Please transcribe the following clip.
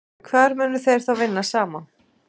Hvar munu þeir þá vinna saman?